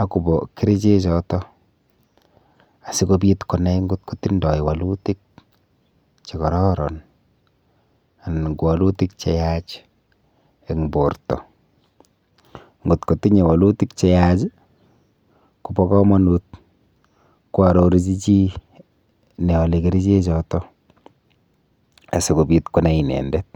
akobo kerichechoto asikobit konai atkotindoi wolutik chekororon anan ko wolutik cheyach eng' borto akotinyei wolutik cheyach kobo komonut koarorchi chi neolei keriche choto asikobit konai inendet